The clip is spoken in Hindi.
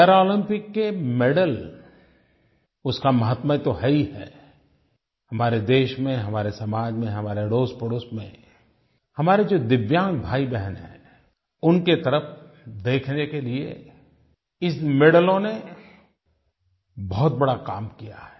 पैरालम्पिक्स के मेडल उसका माहात्म्य तो है ही है हमारे देश में हमारे समाज में हमारे अड़ोसपड़ोस में हमारे जो दिव्यांग भाईबहन हैं उनकी तरफ़ देखने के लिये इन मेडलों ने बहुत बड़ा काम किया है